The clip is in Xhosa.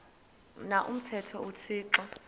na umthetho uthixo